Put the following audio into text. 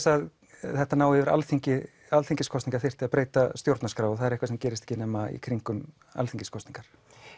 að þetta næði yfir alþingiskosningar líka þyrfti að breyta stjórnarskrá og það er eitthvað sem gerist í kringum alþingiskosningar